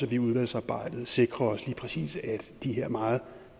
vi i udvalgsarbejdet sikrer os lige præcis at de her meget